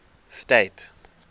state